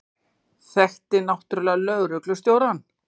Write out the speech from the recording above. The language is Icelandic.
Þekkti náttúrlega lögreglustjórann.